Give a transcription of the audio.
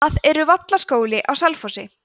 það eru vallaskóli á selfossi